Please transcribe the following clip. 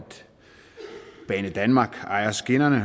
banedanmark ejer skinnerne og